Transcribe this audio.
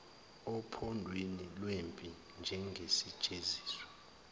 ophondweni lwempi njengesijeziso